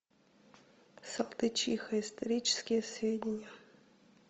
салтычиха исторические сведения